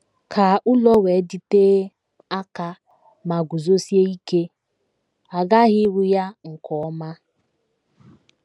Ka ụlọ wee dịtee aka ma guzosie ike, a ghaghị ịrụ ya nke ọma.